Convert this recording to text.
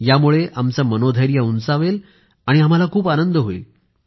यामुळे आमचं मनोधैर्य उंचावेल आणि आम्हाला खूप आनंद होईल